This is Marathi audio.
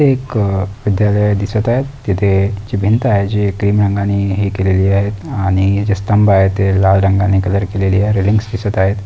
एक विध्यालय दिसत आहे तिथे जे भिंत आहे जे क्रीम रंगाने हे केले आहेत आणि जे स्तंब आहेत ते लाल रंगाने कलर केलेले रिंग्स दिसत आहेत.